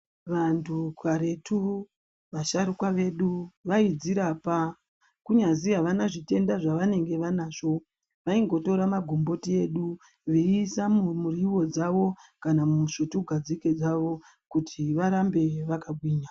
Vantu karetu vasharukwa vedu vaidzirapa kunyazwi havana zvitenda zvavanenge vainazvo vaingotora magomboti edu veiisa mumuriwo dzawo nemusvutugadzike kuti varambe vakagwinya.